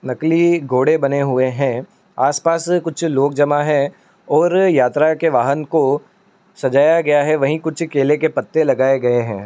नकली घोड़े बने हुए है। आसपास कुछ लोग जमा है और यात्रा के वाहन को सजाया गया है। वहीं कुछ केले के पत्ते लगाए गए है।